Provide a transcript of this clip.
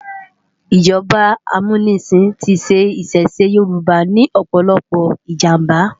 ijọba ámúnisin ti ṣẹ̀ ìṣẹ̀ṣe yórùbá ni òpòlòpò ijámbá